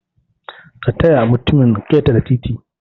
kataya mutumin ketere titi